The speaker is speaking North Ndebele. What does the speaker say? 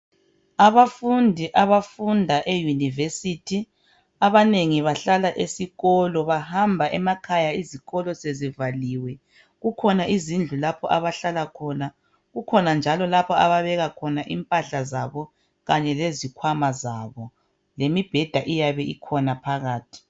Abafundi abafunda eyunivesithi abanengi bahlala esikolo bahamba emakhaya izikolo sezivaliwe kukhona izindlu lapho abahlala khona kukhona njalo lapha ababeka impahla zabo kanye lezikhwama zabo lemibheda iyabe ikhona phakathi.